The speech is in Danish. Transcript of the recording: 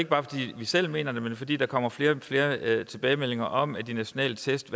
bare fordi vi selv mener det men fordi der kommer flere og flere tilbagemeldinger om at de nationale test